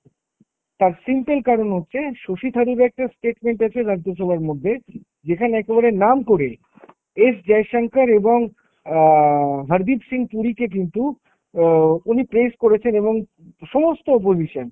তার simple কারণ হচ্ছে শশী থারুর একটা statement আছে রাজ্যসভার মধ্যে, যেখানে একেবারে নাম করে এস জয়শঙ্কর এবং অ্যাঁ হারদীপ সিং পুরীকে কিন্তু অ্যাঁ উনি place করেছেন এবং সমস্ত উপর বিষয়।